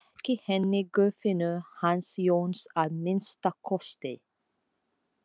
Ekki henni Guðfinnu hans Jóns að minnsta kosti.